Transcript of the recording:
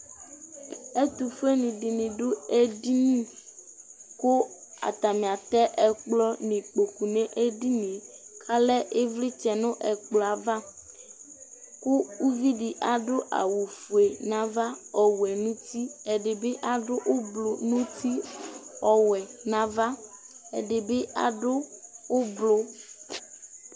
Ɛtuƒoéŋɩ ɖiŋi ɖʊ éɖiŋɩ, ƙatanɩ atɛ ɛƙplɔ nʊ ɩkpokʊ ŋʊ éɖiŋɩé Ƙale ɩvlitsɛ ŋu ɛkplɔva Ƙʊ ʊʋɩɖɩ aɖʊ awʊ oƒoé naʋa, ɔwɛ ŋʊti Ɛɖɩbɩ aɖu ublu nʊtɩ ɔwɛ ŋaʋa Ɛɖiɓɩ aɖʊ ublʊ